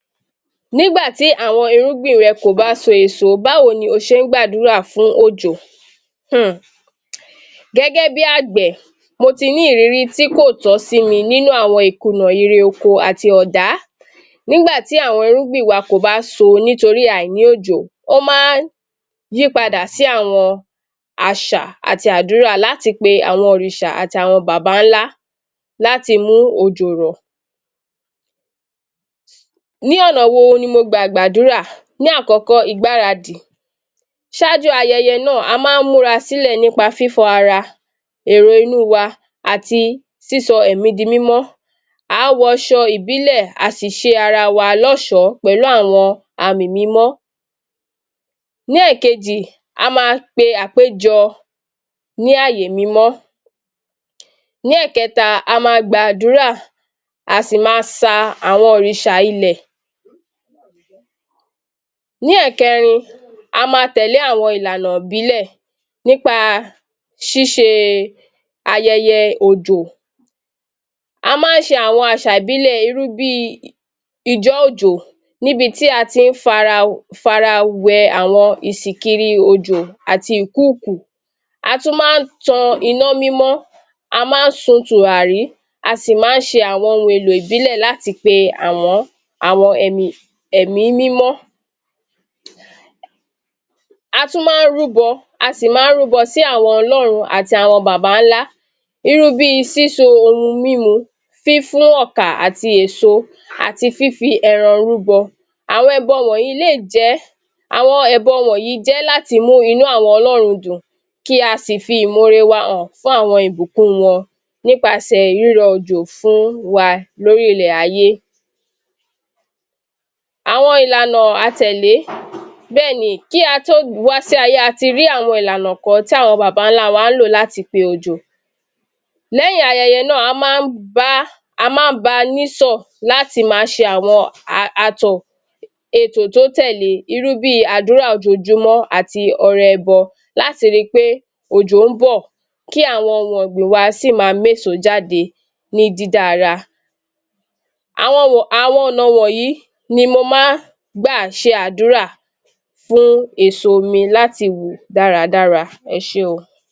Nígbà tí àwọn irúgbìn rẹ kò bá a sun èso, bá wọn ní ó ṣe ń gbàdúrà fún wọn fún òjò, hmm. Gẹ́gẹ́ bí agbẹ̀, mo tí ní ìrírí tí kò tọ́ sí mi nínú àwọn ìkúnà èrè oko àti ọ̀dá, nígbà tí àwọn irúgbìn wa kò bá a so nítorí àìrí òjò ó máa ń yí padà sí àwọn àṣà àti àdúrà láti pe àwọn òrìṣà àti àwọn Bàbáńlá láti mú òjò rọ̀. Ní ọ̀nà wo ni mọ̀ gba gbàdúrà? Ni àkọ́kọ́, Ìgbáradì, ṣáájú ayẹyẹ náà, a máa ń múra sílẹ̀ nípa fífọ ara, èrò inú wa àti sísọ ẹ̀mí di mímọ́, a ó wọ aṣọ ìbílẹ̀ a si ṣé ara wa lọ́ṣọ̀ pẹ̀lú fún àwọn àmì mímọ́. Ní èkejì, a máa pe àpéjọ ní àyè mímọ́. Ní ẹkẹ́ta, a máa gbàdúrà a si máa sa àwọn òrìṣà ilẹ̀. Ní ẹ̀kẹrin, a máa tẹ́lẹ̀ àwọn ìlànà ìbílẹ̀ nípa ṣíṣe ayẹyẹ òjò. A máa ń ṣe àwọn àṣà ìbílẹ̀, irú bí ijọ́ òjò níbi tí a ti fi ara, fi ara wẹ àwọn ìsìkiri òjò àti ìkúùkù. A tún máa ń tan iná mímọ́, a máa ń sun tùràrí a sì máa ń ṣe àwọn ohun èlò ìbílẹ̀ láti pe àwọn, àwọn ẹ̀mì, ẹ̀mí mímọ́. A tún máa rúbọ a si máa ń rúbọ sí àwọn ọlọ́run àti àwọn Bàbáńlá, irú bí síso oru mímú, fífún ọ̀kà àti èso àti fífí ẹran rúbọ, àwọn ẹbọ wọ̀nyí lé jẹ́, àwọn ẹbọ wọ̀nyí jẹ́ láti lé mú inú àwọn ọlọ́run dùn. Kí a sì fi ìmọre wá hàn fún àwọn ìbùkún wọn nípasẹ̀ rírọ òjò fún wa lórí ilẹ̀ ayé. Àwọn ìlànà a tẹ́lẹ̀; bẹ́ẹ̀ ni, kí a tó wà sí ayé a ti rí àwọn ìlànà kan tí àwọn Bàbáńlá ń lò láti pe òjò. Lẹ́yìn ayẹyẹ náà, a máa bá, a máa ń ba nísọ̀ láti máa ṣe àwọn àtọ̀. Ètò tí ó tẹ́lẹ̀ bí àdúrà ojoojúmọ́, a ti ọrẹ ẹbọ láti rí pé òjò ń bọ̀, kí àwọn ohun ọgbìn wa si máa mú èso jáde, ní dídára. Àwọn, àwọn ọ̀nà wọ̀nyí ni mo máa ń gbà ṣe àdúrà fún èso mi láti wù dáradára. Ẹ ṣe óò.